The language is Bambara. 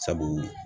Sabu